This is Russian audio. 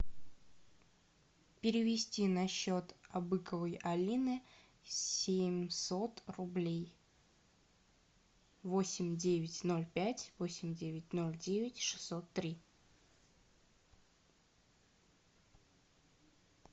перевести на счет абыковой алины семьсот рублей восемь девять ноль пять восемь девять ноль девять шестьсот три